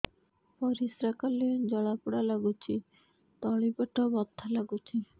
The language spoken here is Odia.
ପରିଶ୍ରା କଲେ ଜଳା ପୋଡା ଲାଗୁଚି ତଳି ପେଟ ବଥା ଲାଗୁଛି